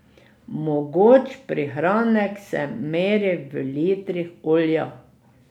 Mogoč prihranek se meri v litrih olja.